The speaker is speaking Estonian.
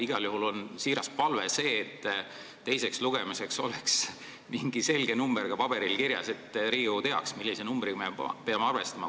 Igal juhul on siiras palve, et teiseks lugemiseks oleks mingi selge number ka paberil kirjas, et Riigikogu teaks, millise numbriga me peame arvestama.